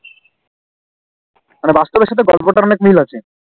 মানে বাস্তবের সাথে গল্পটার অনেক মিল আছে